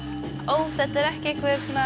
ó þetta er ekki